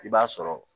I b'a sɔrɔ